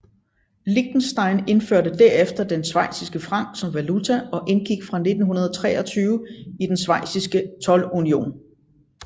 Liechtenstein indførte derefter den schweiziske franc som valuta og indgik fra 1923 i den schweiziske toldunion